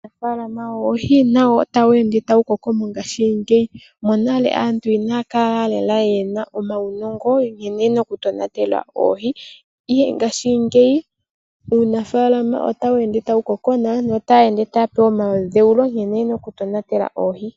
Uunafaalama woohi nawo otawu ende tawu koko mongashingeyi. Monale aantu inaya kala lela ye na omaunongo gokutonatela oohi ashike ngashingeyi uunafaalama otawu ende tawu koko naatu otaya ende taya pewa omadhewulo nkene ye na okutonatela oohi.